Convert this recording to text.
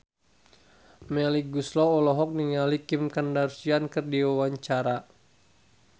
Melly Goeslaw olohok ningali Kim Kardashian keur diwawancara